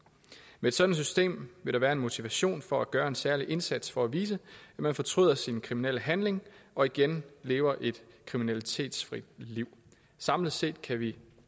med et sådant system vil der være en motivation for at gøre en særlig indsats for at vise at man fortryder sin kriminelle handling og igen lever et kriminalitetsfrit liv samlet set kan vi